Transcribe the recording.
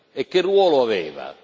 E che ruolo aveva?